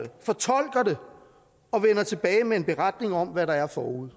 og vender tilbage med en beretning om hvad der er forude